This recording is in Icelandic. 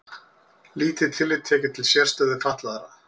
Lítið tillit tekið til sérstöðu fatlaðra